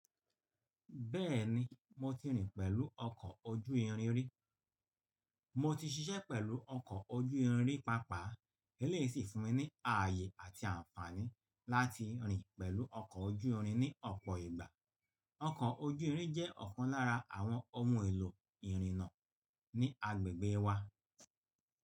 Bẹ́ẹ̀ni mo ti rìn pẹ̀lú ọkọ̀ ojú irin rí. Mo ti ṣiṣẹ́ pẹ̀lú ọkọ̀ ojú irin pàápàá, ilé yìí sì fún mi ní ààyè àti àǹfààní láti rìn pẹ̀lú ọkọ̀ ojú irin ní ọ̀pọ̀ ìgbà. Ọkọ̀ ojú irin jẹ́ ọ̀kan lára àwọn ohun èlò ìrìnnà ní agbègbè wa.